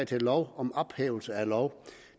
til lov om ophævelse af lov